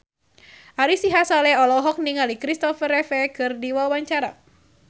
Ari Sihasale olohok ningali Christopher Reeve keur diwawancara